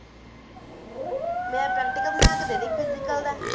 ਮੇਰਾ practical ਬਣਾਕੇ ਦੇ ਦਯਿ physical ਦਾ